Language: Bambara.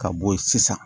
Ka bɔ yen sisan